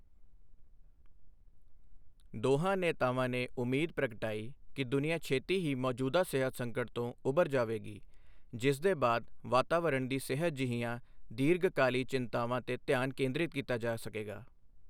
ਦੋਹਾਂ ਨੇਤਾਵਾਂ ਨੇ ਉਮੀਦ ਪ੍ਰਗਟਾਈ ਕਿ ਦੁਨੀਆ ਛੇਤੀ ਹੀ ਮੌਜੂਦਾ ਸਿਹਤ ਸੰਕਟ ਤੋਂ ਉੱਭਰ ਜਾਵੇਗੀ, ਜਿਸ ਦੇ ਬਾਅਦ ਵਾਤਾਵਰਣ ਦੀ ਸਿਹਤ ਜਿਹੀਆਂ ਦੀਰਘਕਾਲੀ ਚਿੰਤਾਵਾਂ ਤੇ ਧਿਆਨ ਕੇਂਦ੍ਰਿਤ ਕੀਤਾ ਜਾ ਸਕੇਗਾ।